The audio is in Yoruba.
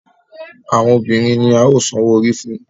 Àwọn obìrin ní a yóò so òwò òrí fún.